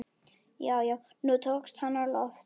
Já, já, nú tókst hann á loft!